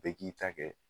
Bɛɛ k'i ta kɛ